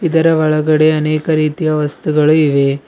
ಇದರ ಒಳಗಡೆ ಅನೇಕ ರೀತಿಯ ವಸ್ತುಗಳು ಇವೆ.